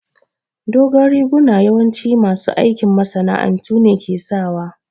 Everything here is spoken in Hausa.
Dogon riguna yawanci masu aikin masana'antu ne ke sa